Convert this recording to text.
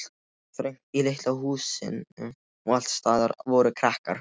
Það var þröngt í litla húsinu og allsstaðar voru krakkar.